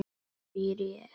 spyr ég.